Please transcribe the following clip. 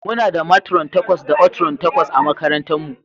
Muna da matron takwas da oatrons takwas a makarantarmu.